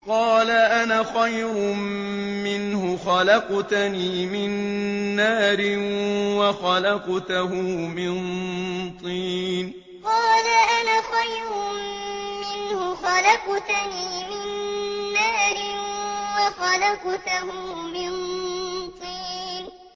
قَالَ أَنَا خَيْرٌ مِّنْهُ ۖ خَلَقْتَنِي مِن نَّارٍ وَخَلَقْتَهُ مِن طِينٍ قَالَ أَنَا خَيْرٌ مِّنْهُ ۖ خَلَقْتَنِي مِن نَّارٍ وَخَلَقْتَهُ مِن طِينٍ